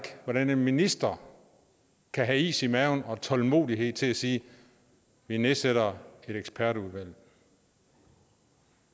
hvordan en minister kan have is i maven og tålmodighed til at sige vi nedsætter et ekspertudvalg